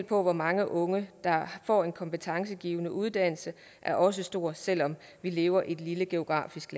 på hvor mange unge der får en kompetencegivende uddannelse er også stor selv om vi lever i et geografisk